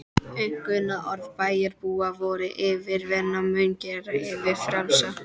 Einkunnarorð bæjarbúa voru: yfirvinnan mun gera yður frjálsa.